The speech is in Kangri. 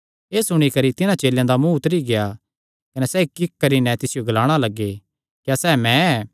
एह़ सुणी करी तिन्हां चेलेयां दा मुँ उतरी गेआ कने सैह़ इक्कइक्क करी नैं तिसियो ग्लाणा लग्गे क्या सैह़ मैं ऐ